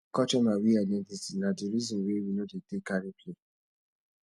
culture na we identity na di resin wey we no dey take carry play